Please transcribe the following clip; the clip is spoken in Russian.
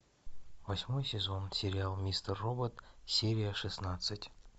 восьмой сезон сериал мистер робот серия шестнадцать